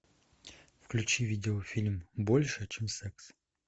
включи видеофильм больше чем секс